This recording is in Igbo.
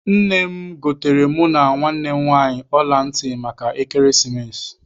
Nne m goteere mụ na nwanne m nwaanyị ọla ntị maka ekeresimesi.